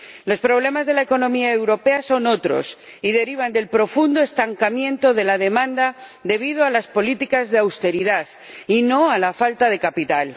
Los problemas de la economía europea son otros y se derivan del profundo estancamiento de la demanda debido a las políticas de austeridad, y no a la falta de capital.